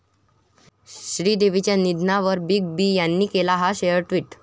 श्रीदेवींच्या निधनावर Big B यांनी केला 'हा' शेर टि्वट